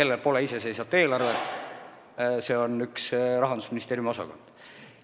Tal pole iseseisvat eelarvet, tegu on Rahandusministeeriumi ühe osakonnaga.